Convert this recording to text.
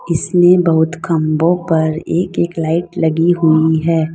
इसमें बहोत खम्बो पर एक एक लाइट लगी हुई है।